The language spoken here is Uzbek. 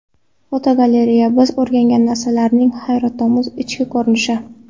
Fotogalereya: Biz o‘rgangan narsalarning hayratomuz ichki ko‘rinishi.